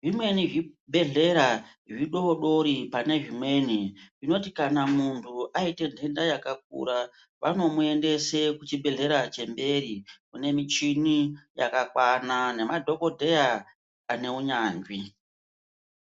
zvimweni zvibhehlera zvidododri panezvimweni zvinoti kana munhu aite nhenda yakakura vanomuendese kuchibhehleya chemberi kune michini yakakwana nemadhokodheya ane unyanzvi.